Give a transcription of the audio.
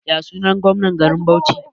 Yasunan gomnan garin Bauchi?